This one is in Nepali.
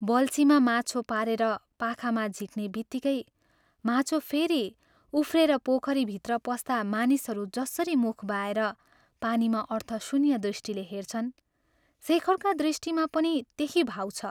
बल्छीमा माछो पारेर पाखामा झिक्नेबित्तिकै माछो फेरि उफ्रेर पोखरीभित्र पस्दा मानिसहरू जसरी मुख बाएर पानीमा अर्थशून्य दृष्टिले हेर्छन्, शेखरका दृष्टिमा पनि त्यही भाव छ।